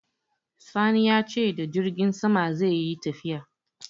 Sani ya ce da jirgin sama zai yi tafiya.